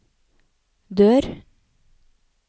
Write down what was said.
dør